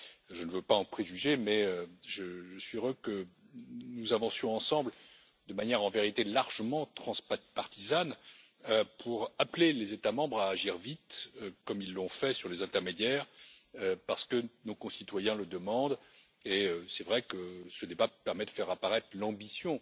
Je ne veux pas en préjuger mais je suis heureux que nous avancions ensemble de manière largement transpartisane pour appeler les États membres à agir vite, comme ils l'ont fait sur les intermédiaires, parce que nos concitoyens le demandent et c'est vrai que ce débat permet de faire apparaître l'ambition